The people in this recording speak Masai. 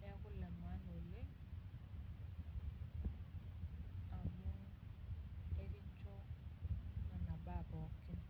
Neeku ilemaana oleng, amu ekincho nena baa pookin.